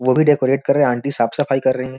वो भी डेकोरेट कर रहे हैं आंटी साफ सफाई कर रही है।